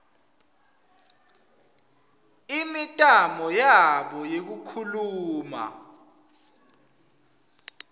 imitamo yabo yekukhuluma